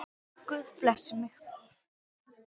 Guð blessi mig.